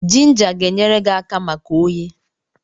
Jinja ga-enyere gi aka maka oyi.